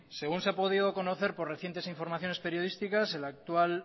según se ha podido conocer por recientes informaciones periodísticas el actual